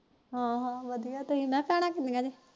ਹਾ ਹਾ ਵਧੀਆਂ ਤੂਸੀ